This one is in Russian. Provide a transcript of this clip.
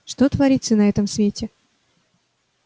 что творится на этом свете